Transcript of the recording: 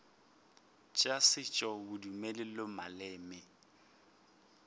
tša setšo bodumedi le maleme